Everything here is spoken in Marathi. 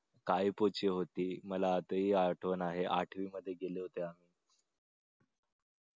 काय पो चे होती मला आजही आठवण आहे आठवी मध्ये गेल्या होत्या